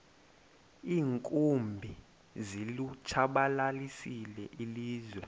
iinkumbi zilitshabalalisile ilizwe